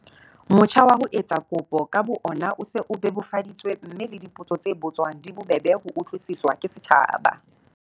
Motjha wa ho etsa kopo ka bo ona o se o bebofaditswe mme le dipotso tse botswang di bobebe ho utlwisiswa ke setjhaba.